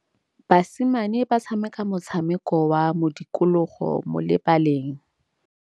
Basimane ba tshameka motshameko wa modikologô mo lebaleng.